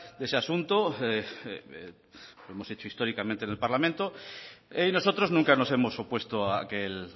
de ese asunto lo hemos hecho históricamente en este parlamento nosotros nunca nos hemos opuesto a que el